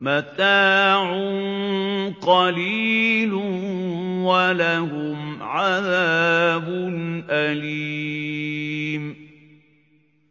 مَتَاعٌ قَلِيلٌ وَلَهُمْ عَذَابٌ أَلِيمٌ